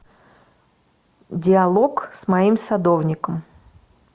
диалог с моим садовником